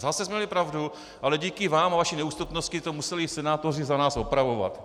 Zase jsme měli pravdu, ale díky vám a vaší neústupnosti to museli senátoři za nás opravovat.